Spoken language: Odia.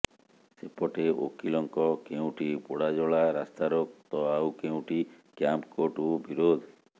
ସେପଟେ ଓକିଲଙ୍କ କେଉଁଠି ପୋଡ଼ାଜଳା ରାସ୍ତାରୋକ ତ ଆଉ କେଉଁଠି କ୍ୟାମ୍ପକୋର୍ଟକୁ ବିରୋଧ